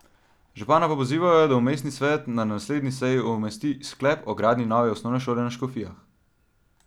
Župana pa pozivajo, da v mestni svet na naslednji seji umesti sklep o gradnji nove osnovne šole na Škofijah.